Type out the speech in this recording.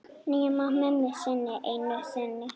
Nema mömmu þinni einu sinni.